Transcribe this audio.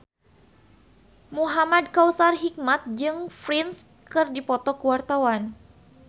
Muhamad Kautsar Hikmat jeung Prince keur dipoto ku wartawan